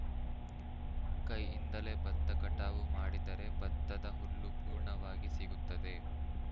ಕೈಯಿಂದಲೇ ಬತ್ತ ಕಟಾವು ಮಾಡಿದರೆ ಬತ್ತದ ಹುಲ್ಲು ಪೂರ್ಣವಾಗಿ ಸಿಗುತ್ತದೆ